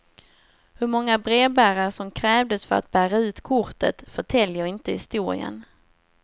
Hur många brevbärare som krävdes för att bära ut kortet förtäljer inte historien.